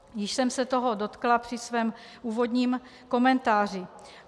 Již jsem se toho dotkla při svém úvodním komentáři.